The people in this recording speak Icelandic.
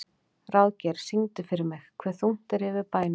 Ráðgeir, syngdu fyrir mig „Hve þungt er yfir bænum“.